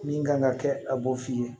Min kan ka kɛ a b'o f'i ye